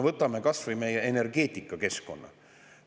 Võtame kas või meie energeetikakeskkonna.